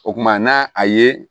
O kumana n'a a ye